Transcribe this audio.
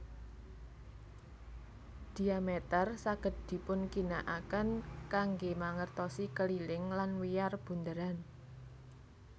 Dhiameter saged dipunginakaken kanggé mangertosi keliling lan wiyar bunderan